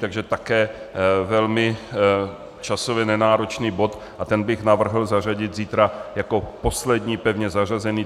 Takže také velmi časově nenáročný bod a ten bych navrhl zařadit zítra jako poslední pevně zařazený.